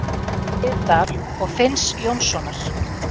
Miðdal og Finns Jónssonar.